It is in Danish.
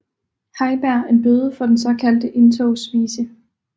Heiberg en bøde for den såkaldte Indtogsvise